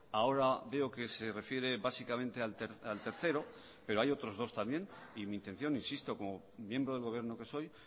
ahora veo que se refiere básicamente al tercero pero hay otros dos también y mi intención insisto como miembro del gobierno que soy